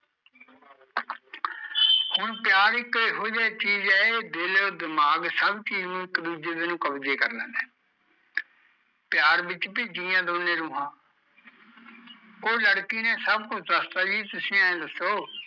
ਹੁਣ ਪਿਆਰ ਇੱਕੋ ਏਹੋ ਜਹੀ ਚੀਜ਼ ਐ ਇਹ ਇੱਕ ਦਿਲ ਅਤੇ ਦਿਮਾਗ ਨੂ ਇੱਕ ਦੂਜੇ ਦੇ ਨੂ ਕਬਜ਼ੇ ਕਰ ਲੈਂਦਾ ਐ ਪਿਆਰ ਵਿੱਚ ਵੀ ਜੀਂਦੀਆ ਦੋਨੇ ਰੂਹਾਂ ਉਹ ਲੜਕੀ ਨੇ ਸਭ ਕੁਜ ਦਸਤਾ ਕਹਿੰਦੀ ਜਿ ਤੁਸੀਂ ਏਹ ਦੱਸੋ